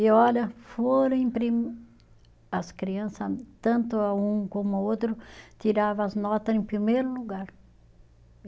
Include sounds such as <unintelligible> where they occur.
E olha, foram <unintelligible> as crianças, tanto a um como o outro, tiravam as notas em primeiro lugar.